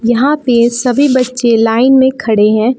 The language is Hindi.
यहां पे सभी बच्चे लाइन में खड़े हैं।